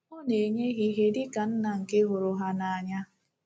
Ọ na-enye ha ihe dị ka Nna nke hụrụ ha n’anya